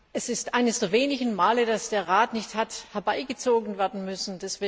Es ist eines der wenigen Male, dass der Rat nicht hat herbeigezogen werden müssen.